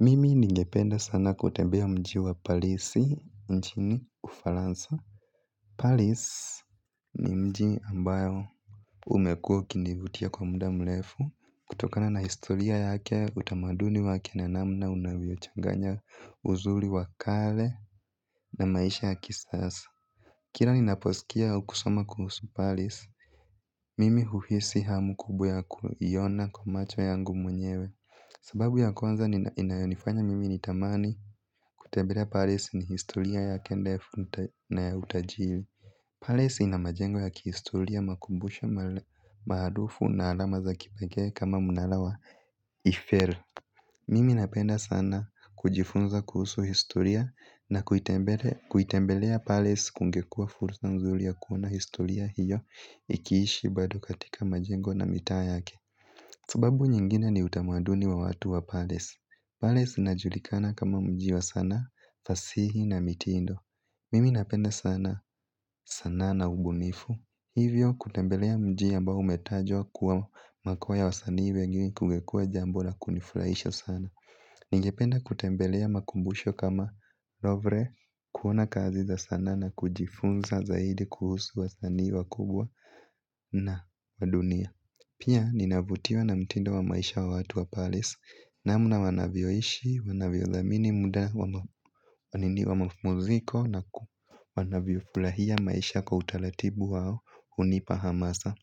Mimi ningependa sana kutembea mji wa parisi nchini ufaransa paris ni mji ambao umekuwa ukinivutia kwa muda mrefu kutokana na historia yake utamaduni wake na namna unavyochanganya uzuri wa kale na maisha ya kisasa kila ninaposikia kusoma kuhusu paris. Mimi huhisi hamu kubwa ya kuiona kwa macho yangu mwenyewe. Sababu ya kwanza inayonnifanya mimi nitamani kutembelea paris ni historia yake ndefu na ya utajiri Paris ina majengo ya kihistoria makumbusho maarufu na alama za kipekee kama mnara wa ifel. Mimi napenda sana kujifunza kuhusu historia na kuitembelea paris kungekua fursa nzuri ya kuona historia hiyo ikiishi bado katika majengo na mitaa yake. Sababu nyingine ni utamaduni wa watu wa Paris. Paris inajulikana kama mji wa sanaa, fasihi na mitindo. Mimi napenda sana sanaa na ubunifu. Hivyo kutembelea mji ambao umetajwa kuwa makao ya wasanii wengi kungekuwa jambo la kunifuraisha sana. Ningependa kutembelea makumbusho kama lovre, kuona kazi za sanaa na kujifunza zaidi kuhusu wasanii wakubwa na wadunia. Pia ninavutiwa na mtindo wa maisha wa watu wa paris. Namna wanavyoishi, wanavyodhamini muda wa mapumziko na wanavyofurahia maisha kwa utaratibu wao unipa hamasa.